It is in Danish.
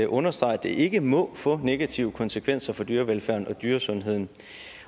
understreger at det ikke må få negative konsekvenser for dyrevelfærden og dyresundheden